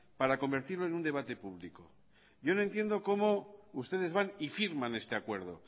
para convertirlo en un debate público yo no entiendo cómo ustedes van y firman este acuerdo